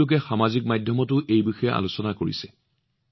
বহুলোকে সামাজিক মাধ্যমতো কথা পাতিছে